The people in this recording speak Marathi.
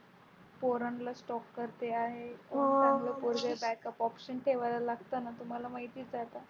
पोरांला Stop करते आहे. चांगलं पोरगं Backup option ठेवायला लागतच ना तुम्हाला माहितीच आहे आता.